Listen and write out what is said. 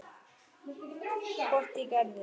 Hvort ég gerði.